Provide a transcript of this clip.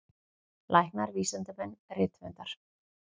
Læknar, vísindamenn, rithöfundar.